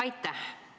Aitäh!